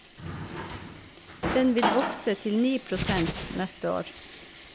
Den vil vokse til ni prosent neste år.